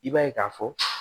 I b'a ye k'a fɔ